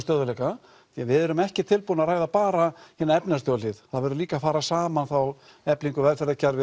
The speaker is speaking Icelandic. stöðugleika því við erum ekki tilbúin að ræða bara hina efnahagslegu hlið það verður líka að fara saman þá efling velferðarkerfis